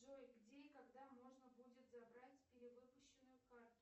джой где и когда можно будет забрать перевыпущенную карту